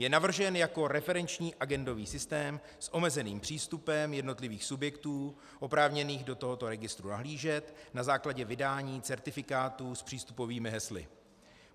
Je navržen jako referenční agendový systém s omezeným přístupem jednotlivých subjektů oprávněných do tohoto registru nahlížet na základě vydání certifikátů s přístupovými hesly.